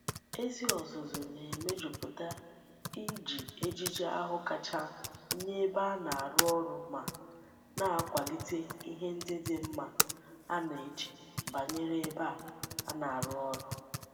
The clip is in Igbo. Ezi ozuzu na-eme juputa Iji ejiji ahu kacha nye ebe a na-aru oru ma na-akwalite ihe ndi di mma a na-eche banyere ebe a na-aru oru.